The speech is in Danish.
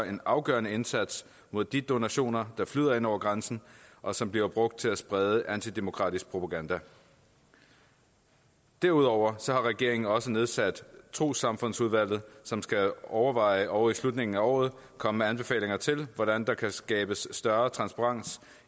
en afgørende indsats mod de donationer der flyder ind over grænsen og som bliver brugt til at sprede antidemokratisk propaganda derudover har regeringen også nedsat trossamfundsudvalget som skal overveje og i slutningen af året komme med anbefalinger til hvordan der kan skabes større transparens